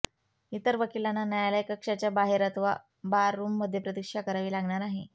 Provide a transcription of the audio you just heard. इतर वकिलांना न्यायालय कक्षाच्या बाहेर अथवा बाररूमध्ये प्रतीक्षा करावी लागणार आहे